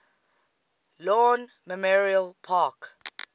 lawn memorial park